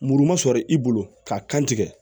Muru ma sɔrɔ i bolo k'a kan tigɛ